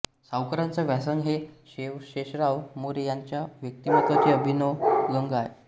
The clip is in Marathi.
सावरकरांचा व्यासंग हे शेषराव मोरे यांच्या व्यक्तिमत्त्वाचे अभिन्न अंग आहे